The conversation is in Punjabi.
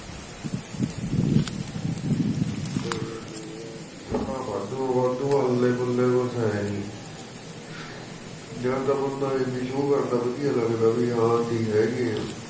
ਚੋੜਾ ਵਾਹਦੂ ਹਾਂ ਵਾਹਦੂ ਅੱਲੇ ਪੱਲੇ ਕੁੱਛ ਹੈ ਨਹੀ ਜਾ ਤਾਂ ਬੰਦਾ ਇਹ ਵੀ show ਕਰਦਾ ਵਧਿਆ ਲਗਦਾ ਹੈ ਬਹਿ ਹਾਂ ਅਸੀ ਹੈਗੇ ਆ